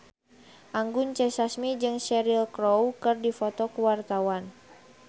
Anggun C. Sasmi jeung Cheryl Crow keur dipoto ku wartawan